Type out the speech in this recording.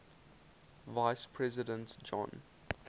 vice president john